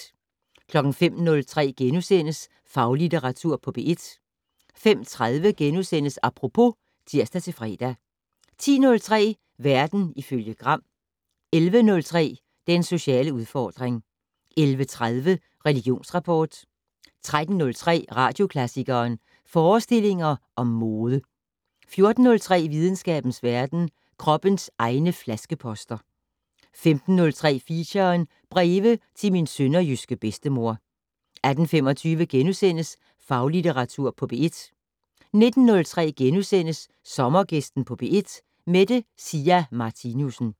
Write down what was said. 05:03: Faglitteratur på P1 * 05:30: Apropos *(tir-fre) 10:03: Verden ifølge Gram 11:03: Den sociale udfordring 11:30: Religionsrapport 13:03: Radioklassikeren: Forestillinger om mode 14:03: Videnskabens verden: Kroppens egne flaskeposter 15:03: Feature: Breve til min sønderjyske bedstemor 18:25: Faglitteratur på P1 * 19:03: Sommergæsten på P1: Mette Sia Martinussen *